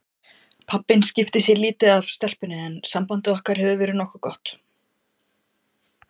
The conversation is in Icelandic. Pabbinn skiptir sér lítið af stelpunni en samband okkar hefur verið nokkuð gott.